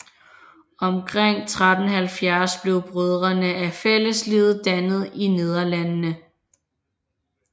Omkring 1370 blev Brødrene af Fælleslivet dannet i Nederlandene